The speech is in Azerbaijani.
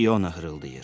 İona hırıldayır.